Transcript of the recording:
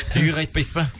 үйге қайтпайсыз ба